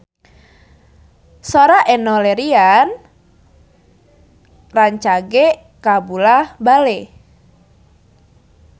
Sora Enno Lerian rancage kabula-bale